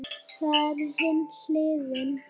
Það er hin hliðin.